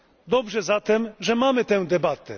Dobrze zatem, że mamy tę debatę.